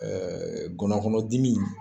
ngɔnɔnkɔnɔdimi